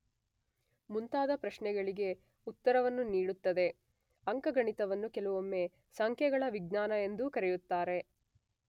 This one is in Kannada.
ಮುಂತಾದ ಪ್ರಶ್ನೆಗಳಿಗೆ ಉತ್ತರವನ್ನು ನೀಡುತ್ತದೆ.ಅಂಕಗಣಿತವನ್ನು ಕೆಲವೊಮ್ಮೆ ಸಂಖ್ಯೆಗಳ ವಿಜ್ಞಾನ ಎಂದೂ ಕರೆಯುತ್ತಾರೆ.